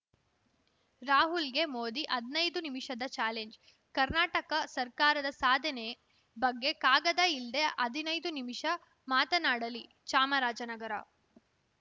ರಾಹುಲ್‌ಗೆ ಮೋದಿ ಹದ್ನೈದು ನಿಮಿಷದ ಚಾಲೆಂಜ್‌ ಕರ್ನಾಟಕ ಸರ್ಕಾರದ ಸಾಧನೆ ಬಗ್ಗೆ ಕಾಗದ ಇಲ್ದೇ ಹದಿನೈದು ನಿಮಿಷ ಮಾತನಾಡಲಿ ಚಾಮರಾಜನಗರ